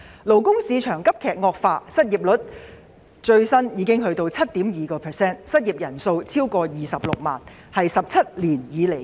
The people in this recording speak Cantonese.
勞工市場急劇惡化，最新失業率高達 7.2%， 失業人數超過26萬人，創17年新高。